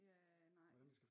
Ja nej